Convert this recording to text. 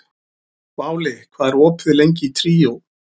Váli, hvað er lengi opið í Tríó?